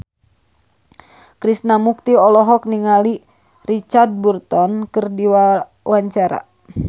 Krishna Mukti olohok ningali Richard Burton keur diwawancara